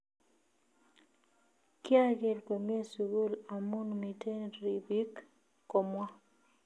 �kiager komie sugul amun miten ribiik�, komwa